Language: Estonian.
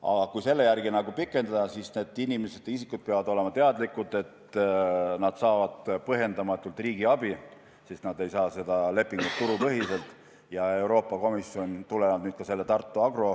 Aga kui selle järgi pikendada, siis need isikud peavad olema teadlikud, et nad saavad põhjendamatut riigi abi, sest nad ei sõlmi seda lepingut turupõhiselt ja tulenevalt ka lahendusest, mis tehti Tartu Agro